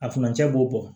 A furancɛ b'o bɔ